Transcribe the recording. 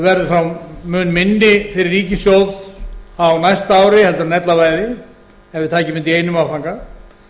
verði þá mun minni fyrir ríkissjóð á næsta ári heldur en ella væri ef við tækjum þetta í einum áfanga